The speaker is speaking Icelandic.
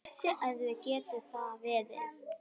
Hversu erfitt getur það verið?